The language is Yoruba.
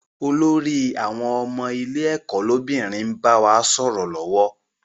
Olórí àwọn ọmọ ilé ẹ̀kọ́ lọ́bìnrin n bá wa sọ̀rọ̀ lọ́wọ́